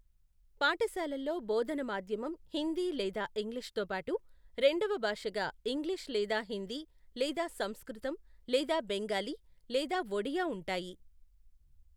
పాఠశాలల్లో బోధన మాధ్యమం హిందీ లేదా ఇంగ్లీష్ తోబాటు రెండవ భాషగా ఇంగ్లీష్ లేదా హిందీ లేదా సంస్కృతం లేదా బెంగాలీ లేదా ఒడియా ఉంటాయి.